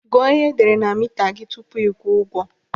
Gụọ ihe edere na mita gị tupu ịkwụọ ụgwọ.